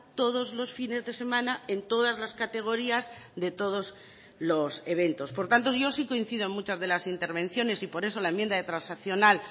todos los fines de semana en todas las categorías de todos los eventos por tanto yo sí coincido muchas de las intervenciones y por eso la enmienda transaccional